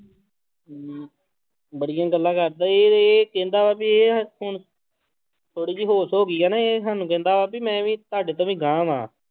ਬੜੀਆਂ ਗੱਲਾਂ ਕਰਦਾ ਇਹ ਇਹ ਕਹਿੰਦਾ ਵਾ ਇਹ ਹੁਣ ਥੋੜ੍ਹੀ ਜਿਹੀ ਹੋਸ਼ ਹੋ ਗਈ ਹੈ ਨਾ ਇਹ ਸਾਨੂੰ ਕਹਿੰਦਾ ਵਾ ਵੀ ਮੈਂ ਵੀ ਤੁਹਾਡੇ ਤੋਂ ਵੀ ਗਾਂਹ ਵਾਂ।